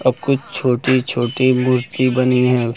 और कुछ छोटी छोटी मूर्ति बनी है।